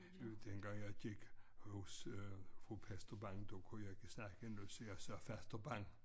Øh dengang jeg gik hos fru pastor Bang der kunne jeg ikke snakke endnu så jeg sagde faster Bang